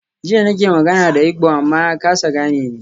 Jiya nake magana da Igbo amma ya kasa gane ni.